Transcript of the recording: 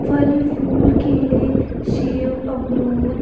फल फुल केले सेब अमरूद--